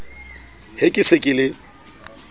he ke se ke le